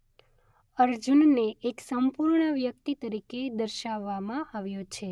અર્જુનને એક સંપૂર્ણ વ્યક્તિ તરીકે દર્શાવવામાં આવ્યો છે.